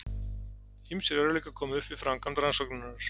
Ýmsir örðugleikar komu upp við framkvæmd rannsóknarinnar.